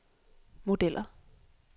modeller